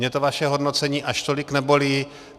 Mě to vaše hodnocení až tolik nebolí.